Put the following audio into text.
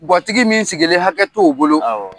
Gatigi min sigilen hakɛ t'o bolo